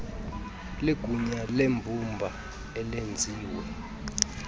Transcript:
ligunya lembumba elenziwe